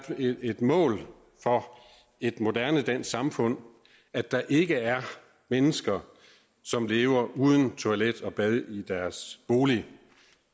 et mål for et moderne dansk samfund at der ikke er mennesker som lever uden toilet og bad i deres bolig